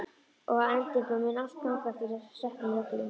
Og að endingu mun allt ganga eftir settum reglum.